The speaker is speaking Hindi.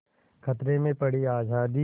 खतरे में पड़ी आज़ादी